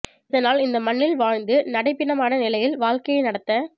இதனால் இந்த மண்ணில் வாழந்து நடைப் பிணமான நிலையில் வாழக்கையை நடத்த